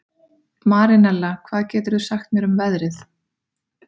Marinella, hvað geturðu sagt mér um veðrið?